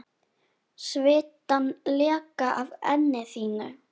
Svitann leka af enni þínu.